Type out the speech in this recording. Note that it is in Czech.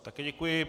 Také děkuji.